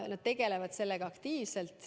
Nad tegelevad sellega aktiivselt.